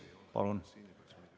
Palun!